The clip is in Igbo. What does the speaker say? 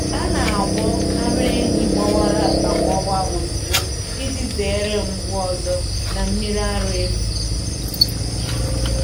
A na-agwọ ara ehi gbawara agbawa ozugbo iji zere mgbu ọzọ na mmiri ara efu.